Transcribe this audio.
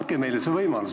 Andke meile see võimalus.